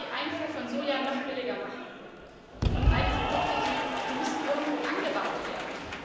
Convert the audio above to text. Es wird die Einfuhr von Soja noch billiger machen, und all diese Produkte müssen irgendwo angebaut werden.